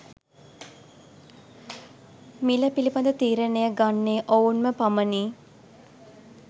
මිළ පිළිබඳ තීරණය ගන්නේ ඔවුන්ම පමණි.